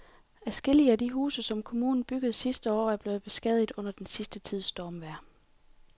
Adskillige af de huse, som kommunen byggede sidste år, er blevet beskadiget under den sidste tids stormvejr.